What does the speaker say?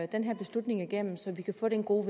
den her beslutning igennem så vi kan få det gode